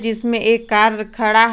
इसमें एक कार खड़ा है।